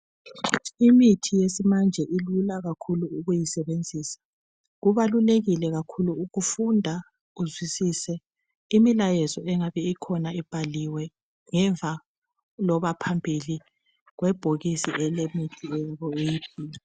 Imithi yesimanje ilula kakhulu ukuyisebenzisa. Kubalulekile kakhulu ukufunda uzwisise imilayezo engabe ikhona ibhaliwe ngemva loba phambili kwebhokisi elemithi leyi.